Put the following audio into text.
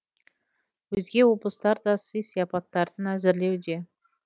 өзге облыстар да сый сыяпаттарын әзірлеуде